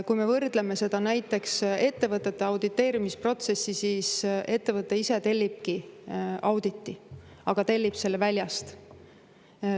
Seda saab võrrelda näiteks ettevõtete auditeerimise protsessiga: ettevõte ise tellibki auditi, aga tellib selle väljast.